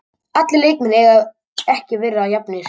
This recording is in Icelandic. Allir leikmenn eiga ekki að vera jafnir.